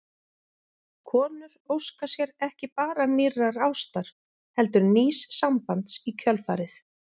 Konur óska sér ekki bara nýrrar ástar heldur nýs sambands í kjölfarið.